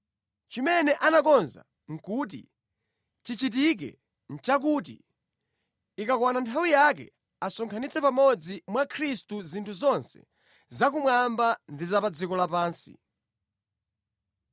Chimene anakonza kuti chichitike nʼchakuti, ikakwana nthawi yake asonkhanitsa pamodzi mwa Khristu zinthu zonse za kumwamba ndi pa dziko lapansi.